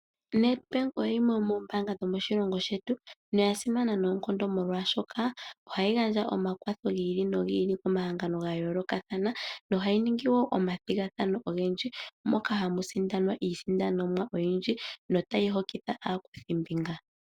Nedbank oyimwe yomoombaanga dhomoshilongo shetu noya simana noonkondo molwashoka ohayi gandja omakwatho gi ili nogi ili komahangano ga yoolokathanayo. Nohayi ningi woo omathigathano ogendji, moka hamu sindanwa iisindanomwa oyindji no tayi hokitha aakuthi mbinga